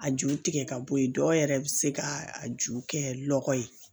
A ju tigɛ ka bɔ ye dɔw yɛrɛ bɛ se ka a ju kɛ lɔgɔ ye